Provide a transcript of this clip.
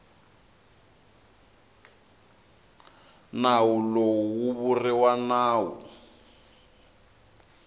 nawu lowu wu vuriwa nawu